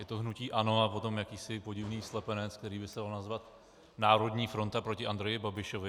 Je to hnutí ANO a potom jakýsi podivný slepenec, který by se dal nazvat národní fronta proti Andreji Babišovi.